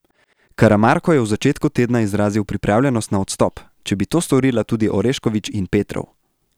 Karamarko je v začetku tedna izrazil pripravljenost na odstop, če bi to storila tudi Orešković in Petrov.